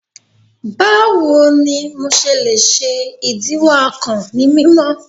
Bawo ni MO ṣe le ṣe idiwọ akàn ni mimọ?